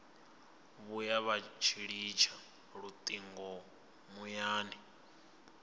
vhuya vha litsha lutingo muyani